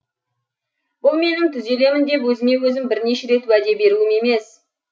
бұл менің түзелемін деп өзіме өзім бірінші рет уәде беруім емес